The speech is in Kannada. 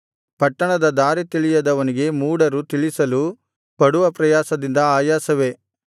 ಪಟ್ಟಣದ ದಾರಿ ತಿಳಿಯದವನಿಗೆ ಮೂಢರು ತಿಳಿಸಲು ಪಡುವ ಪ್ರಯಾಸದಿಂದ ಆಯಾಸವೇ